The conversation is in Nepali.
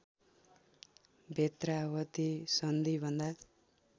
बेत्रावति सन्धि भन्दा